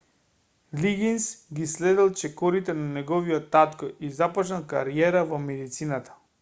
лигинс ги следел чекорите на неговиот татко и започнал кариера во медицината